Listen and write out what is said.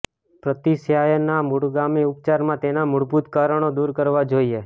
પ્રતિશ્યાયના મૂળગામી ઉપચારમાં તેનાં મૂળભૂત કારણો દૂર કરવાં જોઈએ